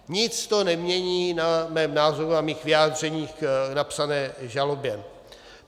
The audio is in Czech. Nic to nemění na mém názoru a mých vyjádřeních k napsané žalobě.